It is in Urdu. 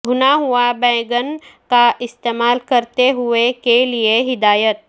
بھنا ہوا بینگن کا استعمال کرتے ہوئے کے لئے ہدایت